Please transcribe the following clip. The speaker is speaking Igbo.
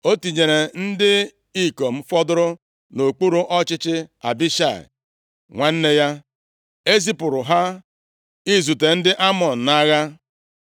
O tinyere ndị ikom fọdụrụ nʼokpuru ọchịchị Abishai, nwanne ya, e zipụrụ ha izute ndị Amọn nʼagha.